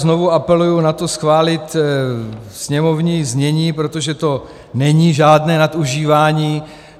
Znovu apeluji na to schválit sněmovní znění, protože to není žádné nadužívání.